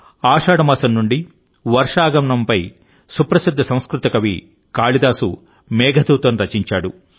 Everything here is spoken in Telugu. ఆషాఢ మాసం నుండి వర్ష ఆగమనంపై సుప్రసిద్ధ సంస్కృత కవి కాళిదాసు మేఘదూతం రచించాడు